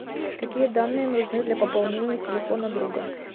какие данные нужны для пополнения телефона друга